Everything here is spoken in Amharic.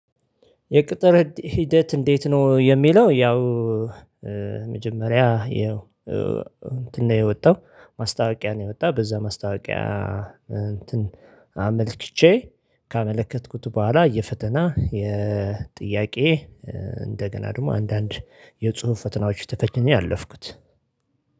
የቅጥር ሂደት እንዴት ነው? የሚለው ያው መጀመሪያ ይኸው እንትን ነው የወጣው ማስታወቂያ ነው የወጣው በዛ ማስታወቂያ እንትን አመልክቼ ካመለከትኩት በኋላ የፈተና የጥያቄ እንደገና ደግሞ አንዳንድ የጽሁፍ ፈተናዎች ተፈቸኝ ያለፍኩት።